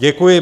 Děkuji.